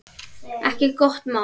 Ekki gott mál.